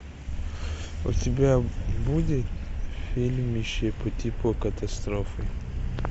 у тебя будет фильмище по типу катастрофы